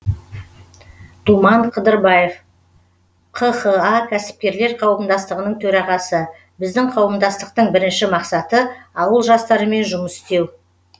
думан қыдырбаев қха кәсіпкерлер қауымдастығының төрағасы біздің қауымдастықтың бірінші мақсаты ауыл жастарымен жұмыс істеу